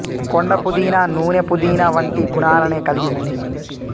కొండ పుదీనా నూనె పుదీనా వంటి గుణాలనే కల్గి ఉంది